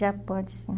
Já pode, sim.